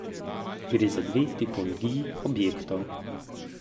Gre za dve tipologiji objektov.